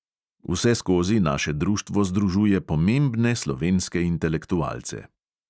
Vseskozi naše društvo združuje pomembne slovenske intelektualce.